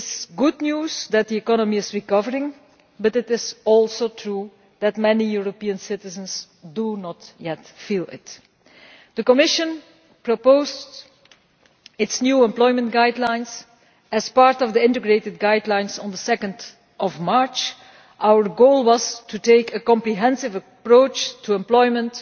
It is good news that the economy is recovering, but it is also true that many European citizens do not yet feel it. The Commission proposed its new employment guidelines as part of the integrated guidelines on 2 March. Our goal was to take a comprehensive approach to employment,